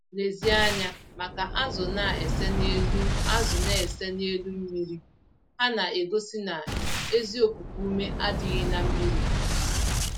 Lezie anya maka azụ na-ese n'elu azụ na-ese n'elu mmiri - ha na-egosi na ezi okuku-ume adịghị na mmírí ha